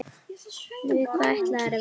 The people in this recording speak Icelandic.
Við hvað ætlarðu að vinna?